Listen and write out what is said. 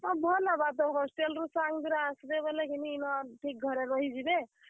ହଁ, ଭଲ ହେବା ତ hostel ରୁ ତୋର ସାଙ୍ଗ ଦୁରା ଆସବେ ବେଲେ କିନି ଇନ ଠିକ୍ ଘରେ ରହି ଯିବେ।